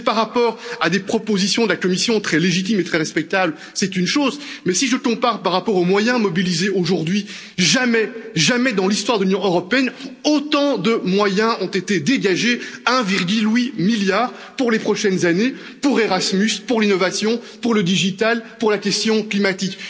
Si c'est par rapport à des propositions de la Commission propositions très légitimes et très respectables c'est une chose, mais si je compare aux moyens mobilisés aujourd'hui, jamais, je dis bien jamais, dans l'histoire de l'Union européenne, autant de moyens n'ont été dégagés! 1,8 milliard pour les prochaines années pour Erasmus, pour l'innovation, pour le numérique, pour la question climatique.